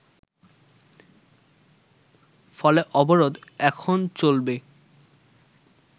ফলে অবরোধ এখন চলবে